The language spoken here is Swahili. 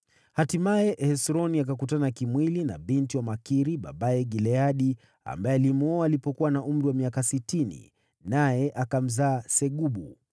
Hatimaye, Hesroni akakutana kimwili na binti wa Makiri babaye Gileadi (ambaye alimwoa alipokuwa na umri wa miaka sitini), naye akamzaa Segubu.